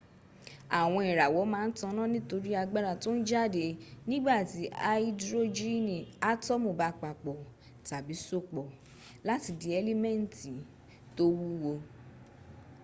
àwọn ìràwọ̀ ma n taná nítorí agbára tón jáde nígbàtí aidrojini atọ́mu ba papò tàbí sopọ̀ láti di ẹ́límẹ́ntì tó wúwo